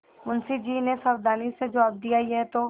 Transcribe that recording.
मुंशी जी ने सावधानी से जवाब दियायह तो